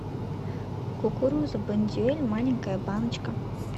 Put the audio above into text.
кукуруза бондюэль маленькая баночка